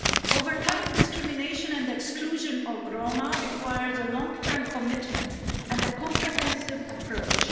Overcoming discrimination and exclusion of Roma requires a long-term commitment and a comprehensive approach.